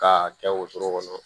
K'a kɛ wotoro kɔnɔ